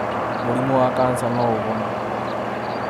Mũrĩmũ wa kansa no ũhonwo